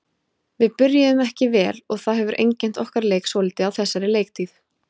Við byrjuðum ekki vel og það hefur einkennt okkar leik svolítið á þessari leiktíð.